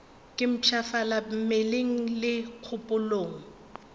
ke mpshafala mmeleng le kgopolong